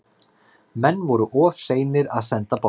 Menn voru of seinir að senda boltann.